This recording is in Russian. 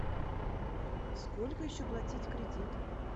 сколько еще платить кредит